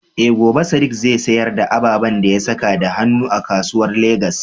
Eh, gobe Sadiq zai sayar da ababen da ya saka da hannu a kasuwan Legas.